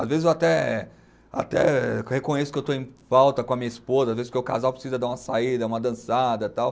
Às vezes, eu até, até reconheço que estou em falta com a minha esposa, às vezes, porque o casal precisa dar uma saída, uma dançada tal.